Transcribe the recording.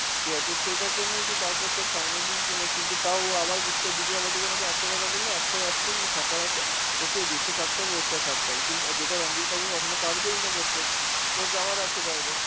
ঠিক আছে, তো সেটার জন্যই যে তারপর তোর finally যে মানে~ কিন্তু তাও ও আবার বুঝতে, দীপিকা পাডুকোন ওকে একটাই কথা বলল, একটাই option যদি থাকার আছে, ওকে এই দেশে থাকতে হবে, ওর সাথে থাকতে হবে, কিন~ আ যেটা রাণবীর কাপুর কখনো পারবেইনা করতে, ওর যাওয়ার আছে বাইরে.